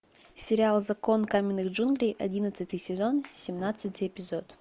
сериал закон каменных джунглей одиннадцатый сезон семнадцатый эпизод